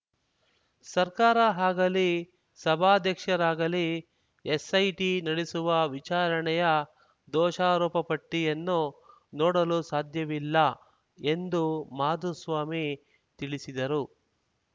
ಸರ್ಕಾರ ಆಗಲಿ ಸಭಾಧ್ಯಕ್ಷರಾಗಲಿ ಎಸ್‌ಐಟಿ ನಡೆಸುವ ವಿಚಾರಣೆಯ ದೋಷಾರೋಪಪಟ್ಟಿಯನ್ನು ನೋಡಲು ಸಾಧ್ಯವಿಲ್ಲ ಎಂದು ಮಾಧುಸ್ವಾಮಿ ತಿಳಿಸಿದರು